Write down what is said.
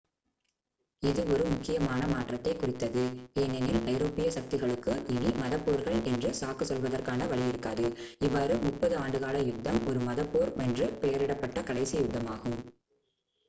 இது ஒரு முக்கியமான மாற்றத்தைக் குறித்தது ஏனெனில் ஐரோப்பியச் சக்திகளுக்கு இனி மதப் போர்கள் என்று சாக்கு சொல்வதற்கான வழி இருக்காது இவ்வாறு முப்பது ஆண்டுகால யுத்தம் ஒரு மதப் போர் என்று பெயரிடப்பட்ட கடைசி யுத்தமாகும்